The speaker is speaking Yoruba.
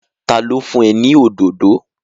Ta ló fún ẹ ní òdòdó?